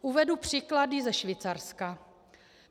Uvedu příklady ze Švýcarska.